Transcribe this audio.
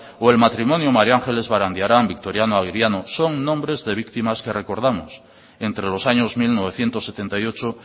o el matrimonio maría ángeles barandiaran victoriano aguiriano son nombres de víctimas que recordamos entre los años mil novecientos setenta y ocho